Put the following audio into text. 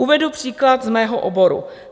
Uvedu příklad z mého oboru.